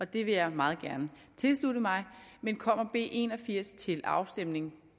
det vil jeg meget gerne tilslutte mig men kommer b en og firs til afstemning